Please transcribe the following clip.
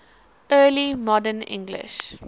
early modern english